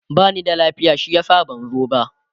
bani da lafiya shi yasa ban zo ba